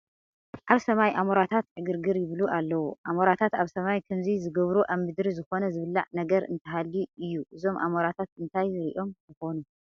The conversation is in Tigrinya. ኣብ ሰማይ ኣሞራታት ዕግርግር ይብሉ ኣለዉ፡፡ ኣሞራትት ኣብ ሰማይ ከምዚ ዝገብሩ ኣብ ምድሪ ዝኾነ ዝብላዕ ነገር እንተሃልዩ እዩ፡፡ እዞም ኣሞራታት እንታይ ሪኦም ይኾኑ?